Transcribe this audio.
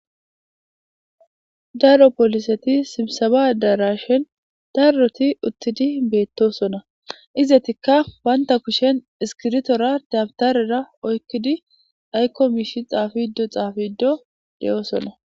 Daro poliseti sibsaba addarashen daroti uttidi beetosona; izetikka banta kushen iskiritora dabtarera oykidi aykko miishi xaafido xaafido de'osonna.